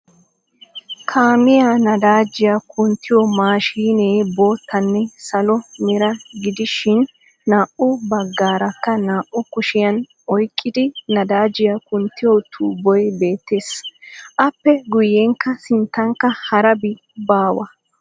Kaamiyaa nadaajjiya kunttiyo machinee boottaanne salo mera gidishin naa"u baggaarak naa"u kushshiyan oyqqidi nadaajiyaa kunttiyo tuubboy beettees. appe guyenkka sinttankka harabi baawa.